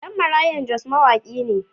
Ɗan Marayan Jos mawaƙi ne.